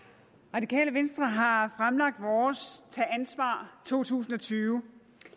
radikale venstre har fremlagt vores tag ansvar to tusind og tyve